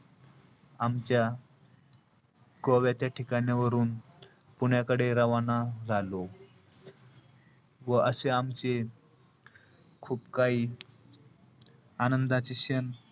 आमच्या गोव्याच्या ठिकाणावरून पुण्याकडे रवाना झालो. व अशे आमचे खूप काही आनंदाचे क्षण,